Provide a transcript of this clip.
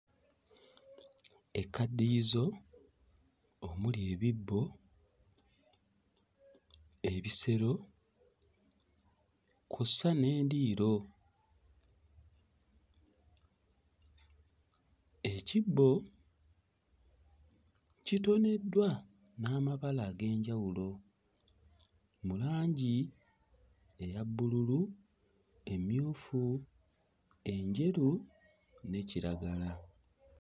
Ekkaddiyizo omuli ebibbo, ebisero kw'ossa n'endiiro. Ekibbo kitoneddwa n'amabala ag'enjawulo mu langi eya bbululu, emmyufu, enjeru ne kiragala.